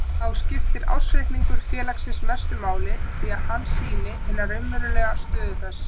Þá skiptir ársreikningur félagsins mestu máli því að hann sýnir hina raunverulegu stöðu þess.